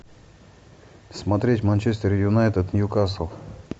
смотреть манчестер юнайтед ньюкасл